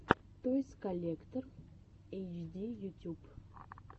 тойс коллектор эйч ди ютюб